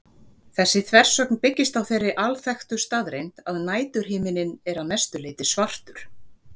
Þessi þversögn byggist á þeirri alþekktu staðreynd að næturhiminninn er að mestu leyti svartur.